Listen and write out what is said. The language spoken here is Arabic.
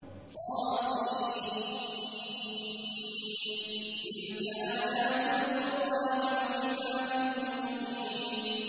طس ۚ تِلْكَ آيَاتُ الْقُرْآنِ وَكِتَابٍ مُّبِينٍ